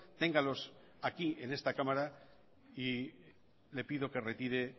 téngalos aquí en esta cámara y le pido que retire